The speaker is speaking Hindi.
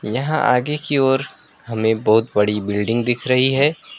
यहां आगे की ओर हमें बहोत बड़ी बिल्डिंग दिख रही है।